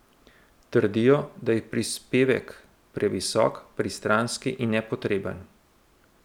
Trdijo, da je prispevek previsok, pristranski in nepotreben.